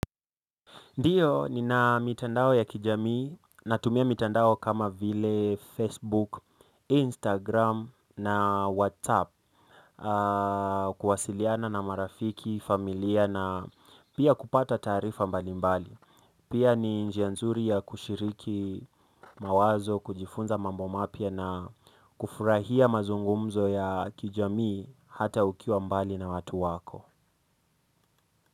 Ndiyo nina mitandao ya kijamii natumia mitandao kama vile Facebook, Instagram na WhatsApp kuwasiliana na marafiki, familia na pia kupata taarifa mbali mbali. Pia ni njia nzuri ya kushiriki mawazo, kujifunza mambo mapya na kufurahia mazungumzo ya kijamii hata ukiwa mbali na watu wako.